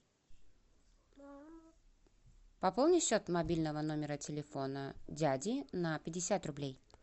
пополни счет мобильного номера телефона дяди на пятьдесят рублей